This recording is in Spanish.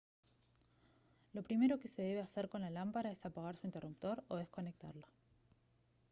lo primero que se debe hacer con la lámpara es apagar su interruptor o desconectarla